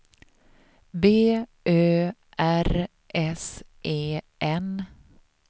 B Ö R S E N